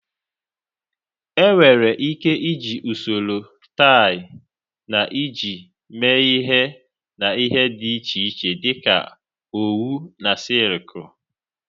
Enwere ike iji usoro tie na ịji mee ihe na ihe dị iche iche dị ka owu na sịịlkụ.